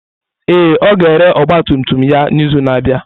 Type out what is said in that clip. Ee, ọ ga-ere ọgba tum tum ya n'izu na-abịa.